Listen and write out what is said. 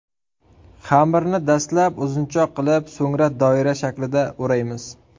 Xamirni dastlab uzunchoq qilib, so‘ng doira shaklida o‘raymiz.